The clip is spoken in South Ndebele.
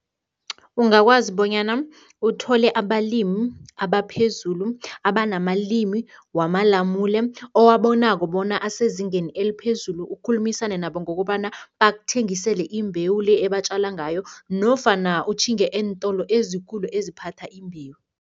Ungakwazi bonyana uthole abalimi abaphezulu abanamalimi wamalamune, owabonako bona asezingeni eliphezulu, ukhulumisane nabo ngokobana bakuthengisele imbewu le ebatjala ngayo nofana utjhinge eentolo ezikulu, eziphatha imbewu.